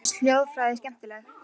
Mér finnst hljóðfræði skemmtileg.